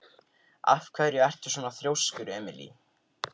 Af hverju ertu svona þrjóskur, Emely?